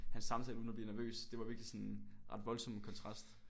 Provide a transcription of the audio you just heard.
Have en samtale uden at blive nervøs det var virkelig sådan en ret voldsom kontrast